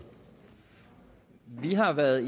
vi har været